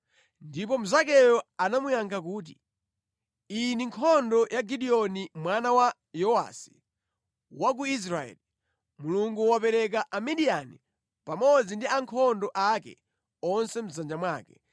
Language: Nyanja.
Ndipo mnzakeyo anamuyankha kuti, “Iyi ndi nkhondo ya Gideoni mwana wa Yowasi, wa ku Israeli. Mulungu wapereka Amidiyani pamodzi ndi ankhondo ake onse mʼdzanja mwake.”